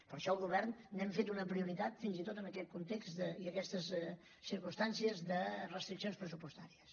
per això al govern n’hem fet una prioritat fins i tot en aquest context i aquestes circumstàncies de restriccions pressupostàries